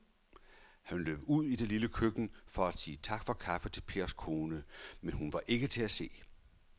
Han løb ud i det lille køkken for at sige tak for kaffe til Pers kone, men hun var ikke til at se.